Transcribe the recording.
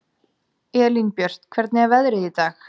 Elínbjört, hvernig er veðrið í dag?